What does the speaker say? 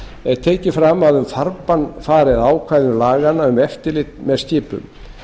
er tekið fram að um farbann fari að ákvæðum laga um eftirlit með skipum